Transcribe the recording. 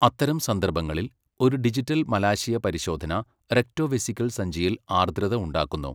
അത്തരം സന്ദർഭങ്ങളിൽ, ഒരു ഡിജിറ്റൽ മലാശയ പരിശോധന റെക്ടോവെസിക്കൽ സഞ്ചിയിൽ ആർദ്രത ഉണ്ടാക്കുന്നു.